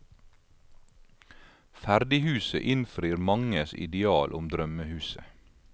Ferdighuset innfrir manges ideal om drømmehuset.